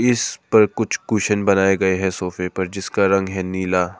इस पर कुछ कुशन बनाए गए हैं सोफे पर जिसका रंग है नीला।